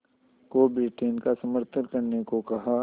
को ब्रिटेन का समर्थन करने को कहा